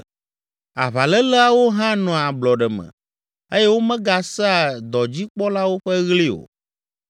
Aʋaléleawo hã nɔa ablɔɖe me eye womegasea dɔdzikpɔlawo ƒe ɣli o.